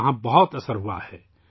وہاں اس کا بڑا اثر ہوا ہے